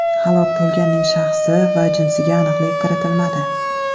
Halok bo‘lganning shaxsi va jinsiga aniqlik kiritilmadi.